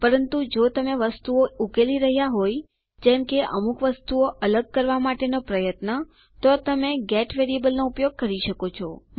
પરંતુ જો તમે વસ્તુઓ ઉકેલી રહ્યા હોય જેમ કે અમુક વસ્તુઓ અલગ કરવા માટેનો પ્રયત્ન તો તમે ગેટ વેરીએબલ નો ઉપયોગ કરી શકો છો